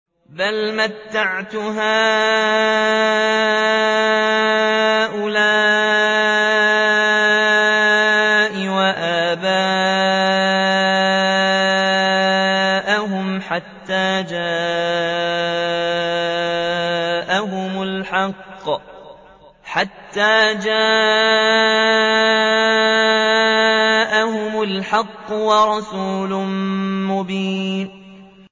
بَلْ مَتَّعْتُ هَٰؤُلَاءِ وَآبَاءَهُمْ حَتَّىٰ جَاءَهُمُ الْحَقُّ وَرَسُولٌ مُّبِينٌ